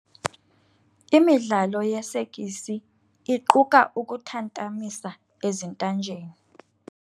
Imidlalo yesekisi iquka ukuthantamisa ezintanjeni.